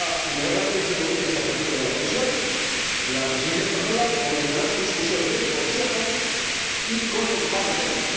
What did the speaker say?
En cuanto se produzca esa propuesta de la Comisión, la Presidencia española comenzará su discusión en el Consejo y con el Parlamento.